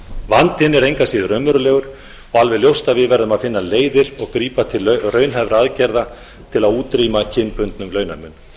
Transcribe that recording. vandinn er engu að síður raunverulegur og alveg ljóst að við verðum að finna leiðir og grípa til raunhæfra aðgerða til að útrýma kynbundnum launamun